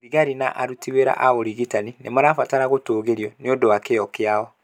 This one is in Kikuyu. Thigari na aruti wĩra a ũrigitani nĩ marabatara gũtũgĩrio nĩ ũndũ wa kĩyo kĩao.